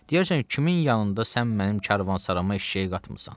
Deyərsən kimin yanında sən mənim karvansarama eşşəyi qatmısan?